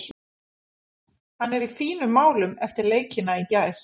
Hann er í fínum málum eftir leikina í gær.